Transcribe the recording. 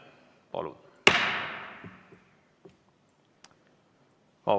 Palun!